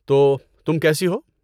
تو، تم کیسی ہو؟